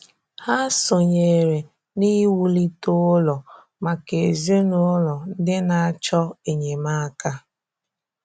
Hà sọnyèrè n’iwùlite ụlọ̀ maka ezinụlọ̀ ndị na-achọ enyemáka.